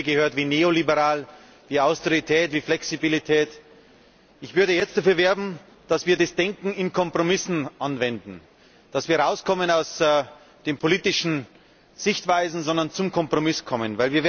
Ich habe Begriffe gehört wie neoliberal, Austerität, Flexibilität. Ich würde jetzt dafür werben, dass wir das Denken in Kompromissen anwenden, dass wir herauskommen aus den politischen Sichtweisen, und stattdessen zum Kompromiss gelangen.